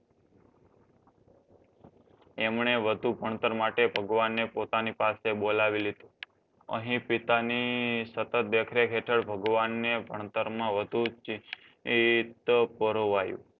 એમણે વધુ ભણતર માટે ભગવાનને પોતાની પાસે બોલાવી લીધો. અહીં પિતાની સતત દેખરેખ હેઠળ ભગવાનને ભણતરમાં વધુ ચિંત પરોવાયું.